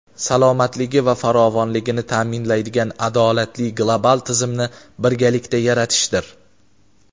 salomatligi va farovonligini ta’minlaydigan adolatli global tizimni birgalikda yaratishdir.